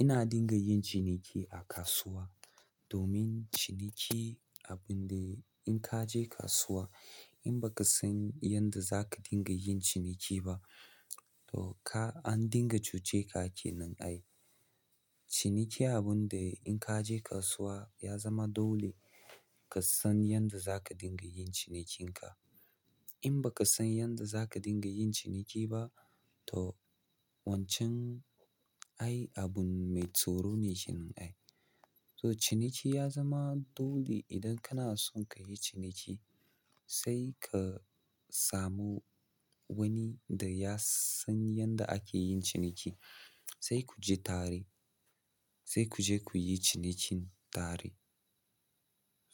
Ina dinga yin ciniki a kasuwa domin ciniki abun de in kaje kasuwa in baka san yadda zaka dinga yin ciniki ba an dinga cuceka kenan. Ciniki abinda in kaje kasuwa ya zama dole ka san yadda za ka dinga yin cinikinka. In ba ka san yadda za ka dinga yin ciniki ba, toh wancan ai abun mai tsoro ne kenan ai. Toh ciniki ya zama dole idan kana son ka yi ciniki, sai ka samu wani da ya san yadda ake yin ciniki, sai ku je tare, sai ku je ku yi cinikin tare.